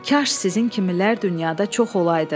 Kaş sizin kimilər dünyada çox olaydı.